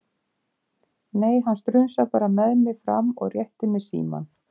Nei, hann strunsar bara með mig fram og réttir mér símann.